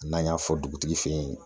N'an y'a fɔ dugutigi fɛ yen